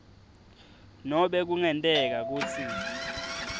nobe kungenteka kutsi